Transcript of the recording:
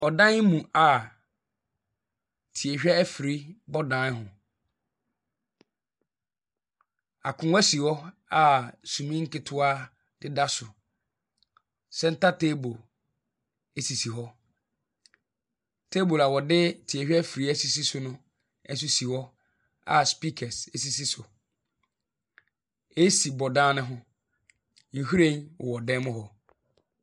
Ɔdan mu a tie-hwɛ afiri bɔ dan ho. Akonnwa si hɔ a sumii nketewa deda so center table sisi hɔ. Table a wɔde tie-hwɛ afiri a sisi no nso si hɔ, a speakers sisi so. AC bɔ dan no ho. Nhwiren wɔ dan mu hɔ.